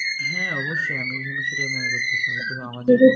হ্যাঁ অবশ্যই আমিও কিন্তু সেটাই মনে করতেছি হয়তোবা আমাদের